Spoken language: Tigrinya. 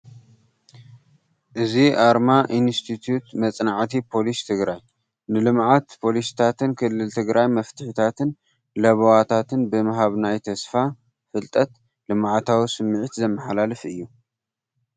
እዚ ኣርማ ኢንስቲትዩት መፅናዕቲ ፖሊሲ ትግራይ። ንልምዓትን ፖሊሲታትን ክልል ትግራይ መፍትሒታትን ለበዋታትን ብምሃብ ናይ ተስፋ፣ ፍልጠት፣ ልምዓታዊ ስምዒት ዘመሓላልፍ እዩ።